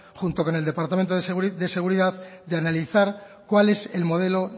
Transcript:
junto con el departamento de seguridad de analizar cuál es el modelo